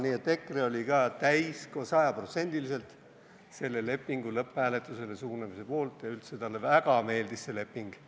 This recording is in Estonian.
Nii et EKRE oli ka sajaprotsendiliselt selle lepingu lõpphääletusele suunamise poolt ja üldse talle väga meeldis see leping.